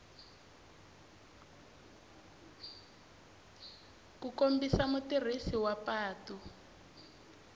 ku kombisa mutirhisi wa patu